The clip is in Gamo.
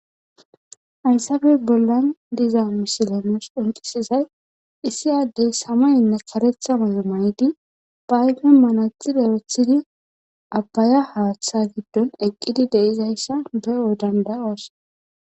hayssabe bollan diza misilenos uncisizay issi addey samaynne karetha mayo may7di bayge manatxid erethidi abbaya haaththa giddon eqqidi deizayssa be7o dandayos